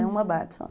Era uma Barbie só.